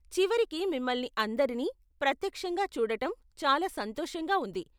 చివరికి మిమ్మల్ని అందరినీ ప్రత్యక్షంగా చూడటం చాలా సంతోషంగా ఉంది.